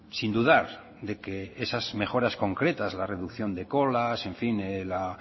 sin dudar de que esas mejoras concretas la reducción de colas en fin la